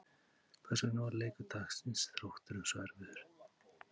Hvers vegna varð leikur dagsins Þrótturum svo erfiður?